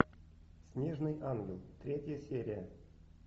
снежный ангел третья серия